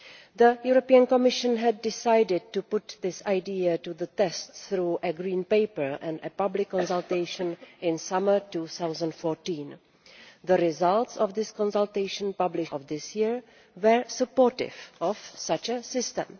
The Commission had decided to put this idea to the test through a Green Paper and a public consultation in summer 2014. The results of the consultation, published in June of this year, were supportive of such a system.